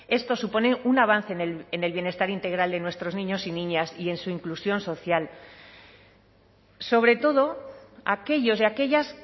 esto supone un avance en el bienestar integral de nuestros niños y niñas y en su inclusión social sobre todo aquellos y aquellas